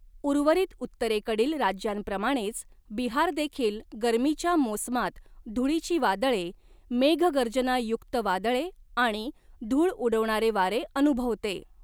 उर्वरित उत्तरेकडील राज्यांप्रमाणेच बिहारदेखील गरमीच्या मोसमात धुळीची वादळे, मेघगर्जनायुक्त वादळे आणि धूळ उडवणारे वारे अनुभवते.